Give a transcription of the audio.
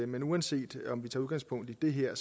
men uanset om vi tager udgangspunkt i det her